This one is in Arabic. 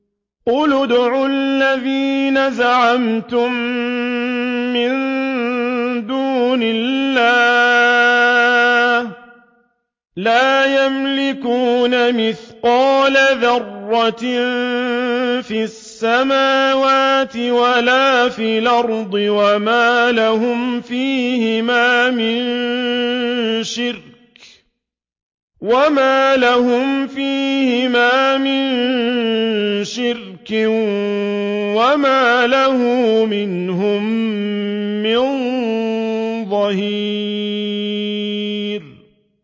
قُلِ ادْعُوا الَّذِينَ زَعَمْتُم مِّن دُونِ اللَّهِ ۖ لَا يَمْلِكُونَ مِثْقَالَ ذَرَّةٍ فِي السَّمَاوَاتِ وَلَا فِي الْأَرْضِ وَمَا لَهُمْ فِيهِمَا مِن شِرْكٍ وَمَا لَهُ مِنْهُم مِّن ظَهِيرٍ